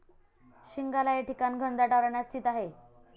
शिंगाला हे ठिकाण घनदाट अरण्यात स्थित आहे.